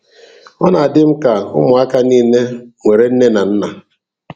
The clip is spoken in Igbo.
Ọ na-adị m ka na ụmụaka niile nwere nne na nna